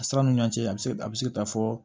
A siraw ni ɲɔɔn cɛ a bi se a bɛ se ka taa fɔ